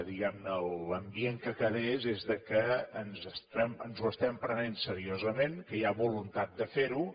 diguem ne l’ambient que quedés és que ens ho estem prenent seriosament que hi ha voluntat de fer ho